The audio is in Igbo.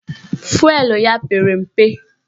Fụelụ ya pere mpe